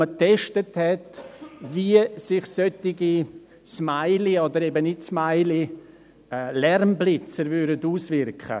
Man hat getestet, wie sich solche Smilies- oder eben Nicht-Smilies-Lärmblitzer auswirken würden.